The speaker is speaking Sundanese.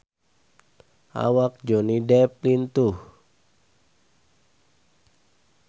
Awak Johnny Depp lintuh